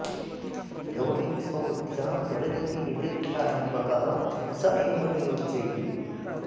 यो हि स्वबुध्द्या प्रवृत्तिनिवृत्यारम्भकः स एव नियोज्य इति